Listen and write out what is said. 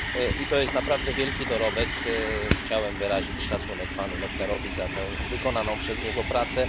I to jest naprawdę wielki dorobek, chciałbym wyrazić szacunek panu Lechnerowi za tę wykonaną przez niego pracę.